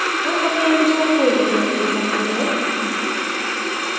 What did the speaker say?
आप अपने अनुसार कोई भी name दे सकते हैं